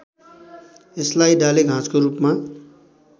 यसलाई डालेघाँसको रूपमा